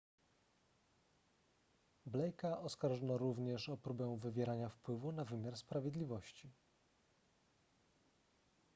blake'a oskarżono również o próbę wywierania wpływu na wymiar sprawiedliwości